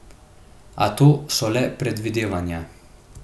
A to so le predvidevanja.